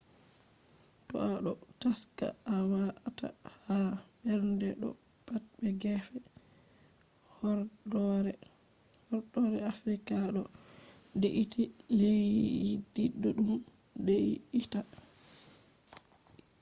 to a ɗo taska a wata ha mbernde do pat be gefe horɗoore afrika ɗo de’iti leddi ɗuɗɗum de’itai